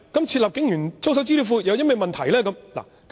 設立警員操守資料庫有甚麼問題？